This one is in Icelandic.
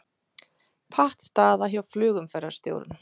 Pattstaða hjá flugumferðarstjórum